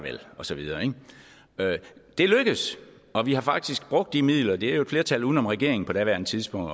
og så videre det lykkedes og vi har faktisk brugt de midler det var jo et flertal uden om regeringen på daværende tidspunkt